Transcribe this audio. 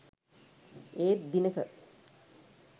ඒත් දිනක